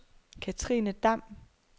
Katrine Damm